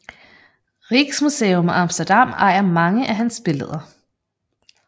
Rijksmuseum Amsterdam ejer mange af hans billeder